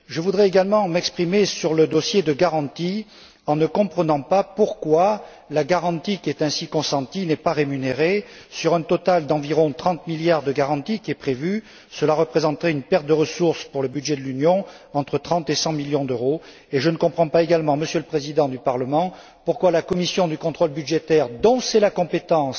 Je tiens également à m'exprimer sur le dossier de garantie je ne comprends pas pourquoi la garantie qui est ainsi consentie n'est pas rémunérée? Sur un total d'environ 30 milliards de garantie qui est prévu, cela représenterait une perte de ressources pour le budget de l'Union entre 30 et 100 millions d'euros, et je ne comprends pas non plus, Monsieur le président du Parlement, pourquoi la Commission du contrôle budgétaire, dont c'est la compétence